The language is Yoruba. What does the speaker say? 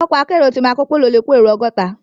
Òkò àkèéró ti màkópóló lé kó éró ògòtá